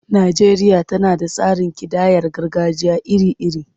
Najeriya tana da tsarin kidayar gargajiya iri-iri.